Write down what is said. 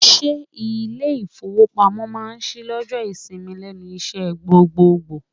Ṣé ilé ìfowópamọ́ máa ṣí lọ́jọ́ ìsinmi lẹ́nu iṣẹ́ gbogboògbò?